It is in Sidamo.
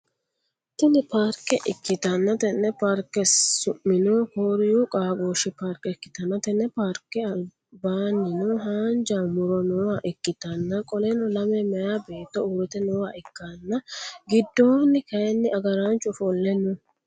Tini paarkke ikkitanna tenne paarkke summino kooriiyu qaagooshu paarkke ikkitanna tenne paarkke albaanino haanjja muro nooha ikkitanna qoleno lame meeyaa beetto urte nooha ikkana gidoonni kaayiin agaraanchu ofolle no?